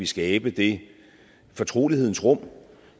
skabe det fortrolighedens rum